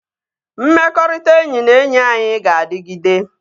Mmekọrịta enyi na enyi anyị ga-adịgide